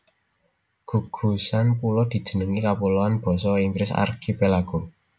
Gugusan pulo dijenengi kapuloan basa Inggris archipelago